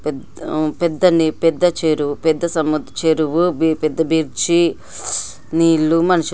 పెద్ద చెరువు పెద్ద బ్రిడ్జి నీళ్ళు మనుషులు.